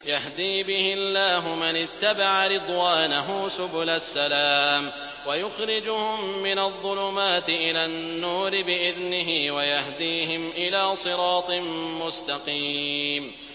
يَهْدِي بِهِ اللَّهُ مَنِ اتَّبَعَ رِضْوَانَهُ سُبُلَ السَّلَامِ وَيُخْرِجُهُم مِّنَ الظُّلُمَاتِ إِلَى النُّورِ بِإِذْنِهِ وَيَهْدِيهِمْ إِلَىٰ صِرَاطٍ مُّسْتَقِيمٍ